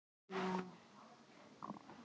Hjó þá Ingimundur á háls Birni höggi miklu.